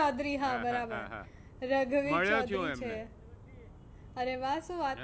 ચૌધરી હા બરાબર છે. મળ્યો છુ હું એમને. અરે વાહ શું વાત